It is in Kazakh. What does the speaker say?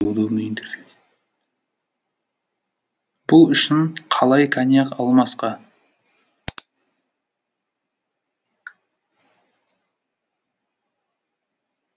бұл үшін қалай коньяк алмасқа